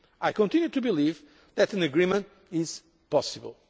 next MFF. I continue to believe that an agreement is